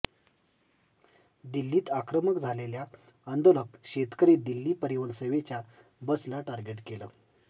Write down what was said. दिल्लीत आक्रमक झालेल्या आंदोलक शेतकरी दिल्ली परिवहन सेवेच्या बसला टार्गेट केलं